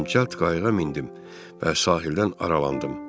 Mən cəld qayığa mindim və sahildən aralandım.